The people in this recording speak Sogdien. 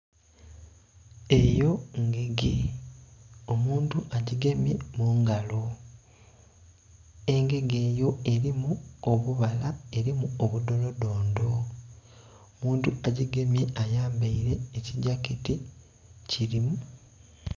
Eyo ngege omuntu agigemye mungalo, engege eyo erimu obubala, erimu budholo dhondho. Omuntu agigemye ayambeire ekigyaketi kilimu...